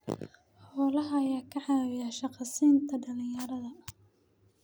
Xoolaha ayaa ka caawiya shaqo siinta dhalinyarada.